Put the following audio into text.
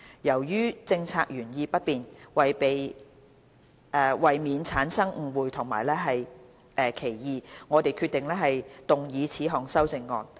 由於政策原意不變，為免產生誤會和歧義，我們決定動議此項修正案。